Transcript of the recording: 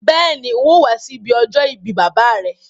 Béèni, n̄ óò wá sí ibi ọjọ́ ìbí bàbá à rẹ.